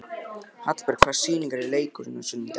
Hallbera, hvaða sýningar eru í leikhúsinu á sunnudaginn?